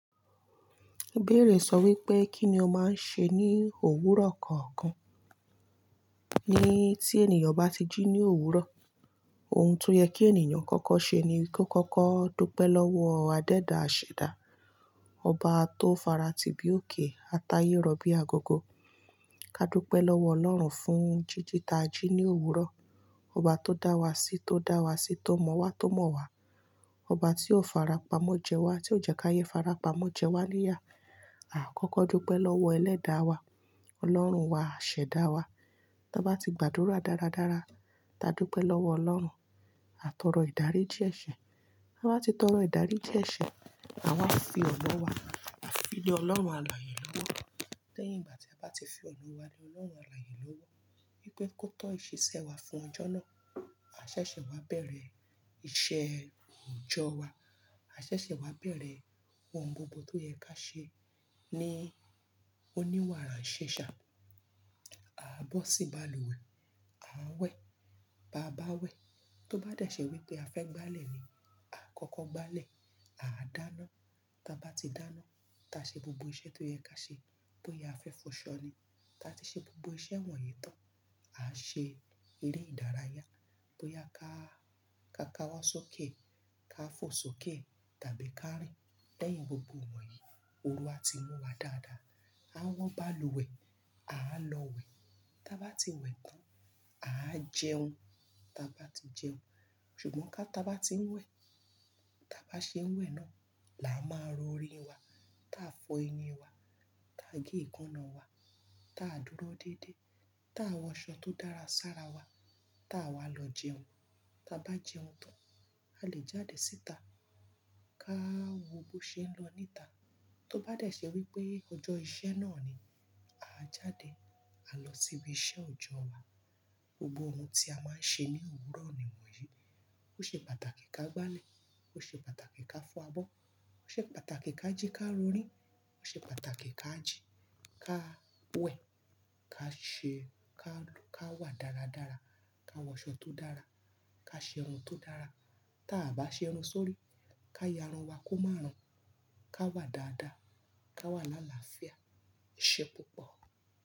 Ibẹ́ẹ̀rẹ̀ sọ wípé Kíni ọ máa ń ṣe ní òwúrọ̀ kọ̀ọ̀kan? Ní tí ènìyàn bá ti jí ní òwúrọ̀, ohun tó yẹ kí ènìyàn kọ́kọ́ ṣe ni kó kọ́kọ́ dúpẹ́ lọ́wọ́ adẹ́ẹ̀ dá àṣẹ dá, Ọba tó fara ti bí òkè, a ta ayé rọ̀ bí agogo. Ká dúpẹ́ lọ́wọ́ Ọlọ́run fún jíjìta jí ní òwúrọ̀. Ọba tó dá wa sí, tó dá wa sí, tó mọ̀ wa, tó mọ̀ wa. Ọba tí o fara pamọ́ jẹ wa, tí o jẹ ká ayé fara pamọ́ jẹ wá níyà. A kọ́kọ́ dúpẹ́ lọ́wọ́ ẹlẹ́da wa, Ọlọ́run wa, àṣẹ dá wa. Tí a bá ti gbàdúrà dáradára, tá dúpẹ́ lọ́wọ́ Ọlọ́run, a tọrọ ìdárí díẹ̀ ṣẹ̀. Tí a bá ti tọrọ ìdárí ji eṣẹ̀, àwa fi ọ̀nà wa, à fi le Ọlọ́run alààyè lọ́wọ́. Lẹ́yìn ìgbà tí a bá ti fi ọ̀nà wa le Ọlọ́run alààyè lọ́wọ́, wípé kó tọ́ ìṣesẹ wa fún ọjọ́ náà, a ṣẹ̀ṣẹ̀ wá bẹ̀rẹ̀ iṣẹ́ òòjọ́ wa. A ṣẹ̀ṣẹ̀ wá bẹ̀rẹ̀ ohun gbogbo tó yẹ ká ṣe ní oníwàrànsẹ́ṣa. A bọ́ sí balùwẹ̀, a wẹ̀, bá a bá wẹ̀, tó bá dẹ̀ ṣe wípé a fẹ́ gbálẹ̀ ni, a kọ́kọ́ gbálẹ̀, a dáná. Tí a bá ti dáná, tá ṣe gbogbo iṣẹ́ tó yẹ ká ṣe, bóyá a fẹ́ fọ ṣọ́ ni. Tí a ti ṣe gbogbo iṣẹ́ wọ̀nyí tán, a ṣe eré ìdárayá, bóyá ká, ká ka wá sókè, ká fò sókè tàbí ká rìn. Lẹ́yìn gbogbo wọ̀nyí, oru á ti mú wa dáadáa. A wọ́n balùwẹ̀, a lọ wẹ̀. Tí a bá ti wẹ̀ tán, a jẹun. Tí a bá ti jẹun, ṣùgbọ́n ká tá bá ti ń wẹ̀, tá bá ṣe ń wẹ̀ náà, là á máa rọrin wa. Tí a fọ eyín wa, tí a gé èékánná wa, tí a dúró déédéé, tí a wọ aṣọ tó dára sára wa, tí àwa lọ jẹun, tí a bá jẹun tán, a lè jáde síta. Ká wo bó ṣe ń lọ níta. Tó bá dẹ̀ ṣe wípé ọjọ́ iṣẹ́ náà ni, a jáde, a lọ síbi iṣẹ́ òòjọ́ wa. Gbogbo ohun tí a máa ń ṣe ní òwúrọ̀ nì won yìí. Ó ṣe pàtàkì ká gbálẹ̀, ó ṣe pàtàkì ká fọ abọ́, ó ṣe pàtàkì ká jí ká rorín, ó ṣe pàtàkì ká jí, ká wẹ̀, ká ṣe ká, ká wà dáradára, ká wọ aṣọ tó dára, ká ṣe irun tó dára. Tí a bá ṣe irun sórí, ká ya irun wa kó má rùn, ká wà dáadáa, ká wà lálàáfíà, eṣẹ́ púpọ̀.